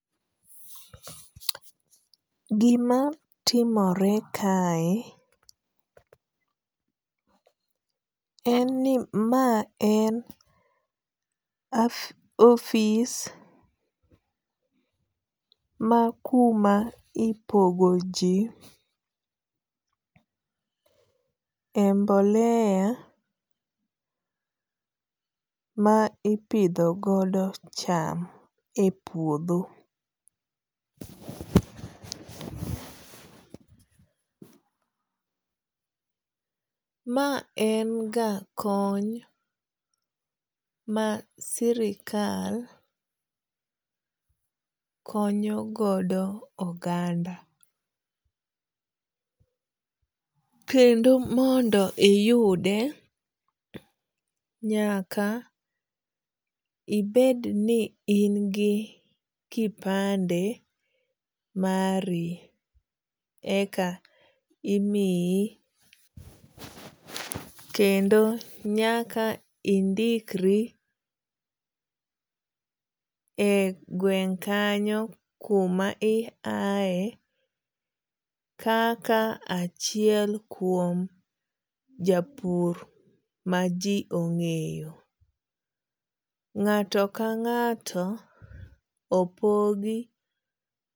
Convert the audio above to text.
Gima timore kae en ni ma en ofis ma kuma ipogo ji e mboleya ma ipidho godo cham e puodho. Ma en ga kony ma sirikal konyo godo oganda. Kendo mondo iyude nyaka ibed ni in gi kipande mari eka imiyi. Kendo nyaka indikri e gweng' kanyo kumi i yae kaka achiel kuom japur ma ji ong'eyo. Ng'ato ka ng'ato opogi.